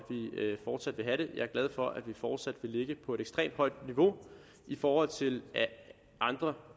fortsat vil have det jeg er glad for at vi fortsat vil ligge på et ekstremt højt niveau i forhold til andre